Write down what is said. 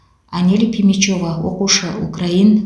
анель пимичева оқушы украин